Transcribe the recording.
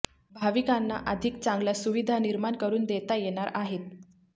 भाविकांना अधिक चांगल्या सुविधा निर्माण करून देता येणार आहेत